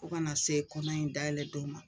O kana se kɔnɔ in dayɛlɛ don ma